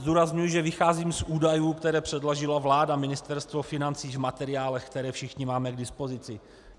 Zdůrazňuji, že vycházím z údajů, které předložila vláda, Ministerstvo financí, v materiálech, které všichni máme k dispozici.